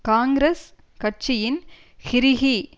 காங்கிரஸ் கட்சியின் ஹிறிஹி